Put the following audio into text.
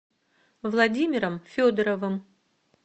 владимиром федоровым